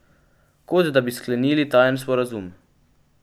Kot da bi sklenili tajen sporazum.